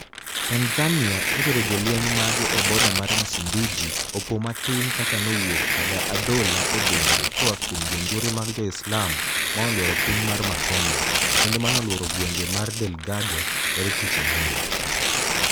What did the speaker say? Tanizaniia notero jolweniy mage eboda mar msumbiji opo matini kaka nowuok kada adhola e denide ko a kuom jonijore mag joislam manoluoro piniy mar macomia, kenido manoluoro gwenig marDelgado yare tich anig'weni.